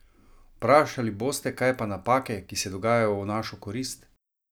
Vprašali boste, kaj pa napake, ki se dogajajo v našo korist?